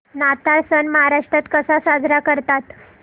नाताळ सण महाराष्ट्रात कसा साजरा करतात